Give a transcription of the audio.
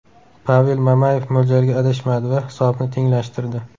Pavel Mamayev mo‘ljalda adashmadi va hisobni tenglashtirdi.